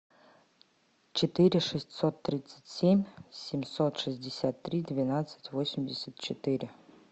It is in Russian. четыре шестьсот тридцать семь семьсот шестьдесят три двенадцать восемьдесят четыре